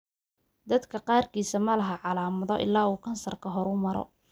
Dadka qaarkiis ma laha calaamado ilaa uu kansarku horumaro.